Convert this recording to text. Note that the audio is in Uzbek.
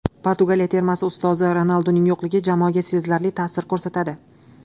Portugaliya termasi ustozi: Ronalduning yo‘qligi jamoaga sezilarli ta’sir ko‘rsatadi.